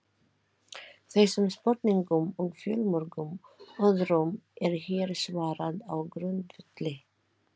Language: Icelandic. Þessum spurningum og fjölmörgum öðrum er hér svarað á grundvelli